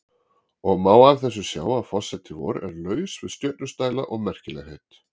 Og má af þessu sjá að forseti vor er laus við stjörnustæla og merkilegheit.